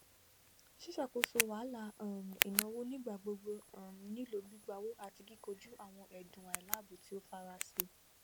ṣíṣàkóso wahalà um ìnáwó nigbagbogbo um nílò gbígbàwọ àti kíkọjú àwọn ẹdùn àìláìbọ tí ó farasí